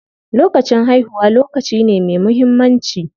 Lokacin haihuwa lokaci ne me muhimmanci.